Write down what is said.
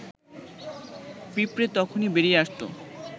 পিঁপড়ে তখুনি বেরিয়ে আসত